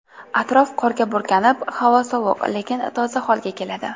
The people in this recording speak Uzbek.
Atrof qorga burkanib, havo sovuq, lekin toza holga keladi.